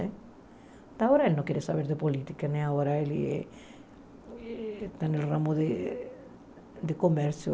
Até agora ele não queria saber de política né, agora ele está no ramo de comércio.